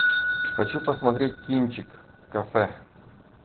хочу посмотреть кинчик кафе